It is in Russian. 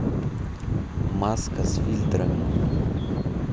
маска с фильтрами